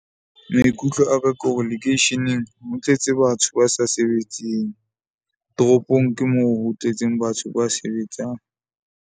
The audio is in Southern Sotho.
Maikutlo a ka ke hore lekeisheneng ho tletse batho ba sa sebetseng, toropong ke moo ho tletseng batho ba sebetsang.